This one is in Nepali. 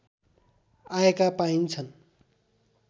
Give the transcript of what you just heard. आएका पाइन्छन्